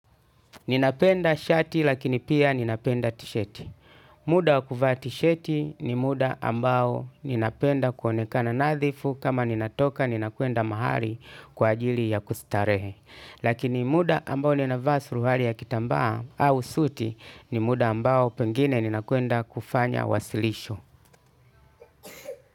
Ninapenda shati lakini pia ninapenda tishati. Muda wa kuvaa tisheti ni muda ambao ninapenda kuonekana nadhifu kama ninatoka ninakuenda mahali kwa ajili ya kustarehe. Lakini muda ambao ninavaa suruari ya kitambaa au suti ni muda ambao pengine ninakuenda kufanya wasilisho.